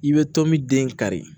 I bɛ to min den kari